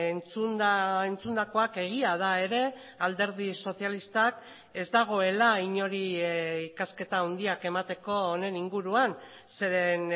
entzunda entzundakoak egia da ere alderdi sozialistak ez dagoela inori ikasketa handiak emateko honen inguruan zeren